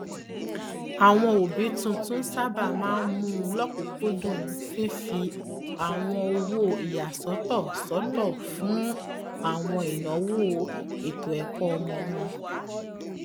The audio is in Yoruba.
àwọn òbí tuntun sábà máa mú lọkùnkúndùn fifi àwọn owó ìyàsọtọ sọtọ fún àwọn ináwó ètòẹkọ ọmọ wọn